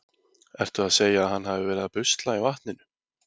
Ertu að segja að hann hafi verið að busla í vatninu?